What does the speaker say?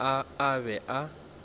mabitla a a be a